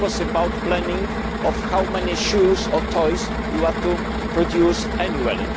This was about planning how many shoes or toys you were to produce annually